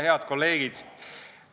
Head kolleegid!